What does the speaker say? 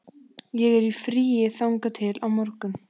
Ég er í fríi þangað til á morgun.